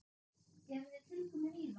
Eruð þið tilbúnir í það?